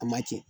A ma cɛn